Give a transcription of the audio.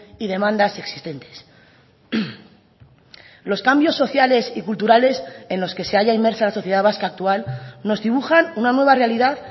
y demandas existentes los cambios sociales y culturales en los que se halla inmersa la sociedad vasca actual nos dibujan una nueva realidad